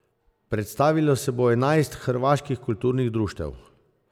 Predstavilo se bo enajst hrvaških kulturnih društev.